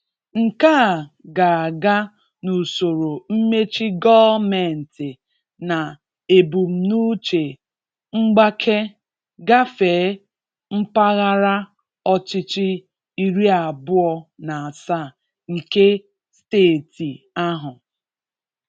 Nke a ga aga n'usoro mmechi gọọmentị na ebumnuche mgbake gafee mpaghara ọchịchị iri abụọ na asaa nke steeti ahụ.